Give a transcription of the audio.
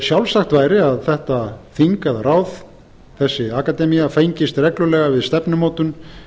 sjálfsagt væri að þetta þing eða ráð þessi akademía fengist reglulega við stefnumótun